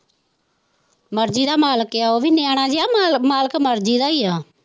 ਮਰਜੀ ਦਾ ਮਾਲਕ ਹੈ ਉਹ ਵੀ ਨਿਆਣਾ ਜਿਹਾ ਮਾਲਕ ਮਰਜੀ ਦਾ ਹੀ ਹੈ।